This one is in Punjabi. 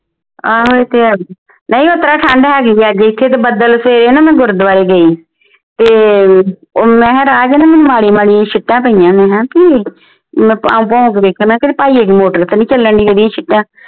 ਆਹੋ ਇਹ ਤੇ ਬਾਈ ਉਹ ਤਰ੍ਹਾਂ ਠੰਡ ਹੈਗੀ ਹੈ ਇਥੇ ਤੇ ਬੱਦਲ ਹੈ ਨਾ ਤੇ ਮੈਂ ਗੁਰਦਵਾਰੇ ਗਈ ਤੇ ਉਹ ਰਾਹ ਚ ਮੈਂ ਕਿਹਾ ਨਾ ਮਾੜੀਆਂ ਮਾੜੀਆਂ ਛਿਟਾਂ ਪਾਈਆਂ ਮੈਂ ਕਿਹਾ ਆ ਕਿ ਹੈ ਮੈਂ ਤਾਂਹ ਭੌਂ ਕੇ ਵੇਖਿਆ ਕਿਤੇ ਭਾਈਆ ਜੀ ਦੀ ਮੋਟਰ ਤੇ ਨਹੀਂ ਚੱਲਣ ਢਈ ਓਹਦੀਆਂ ਛਿਟਾਂ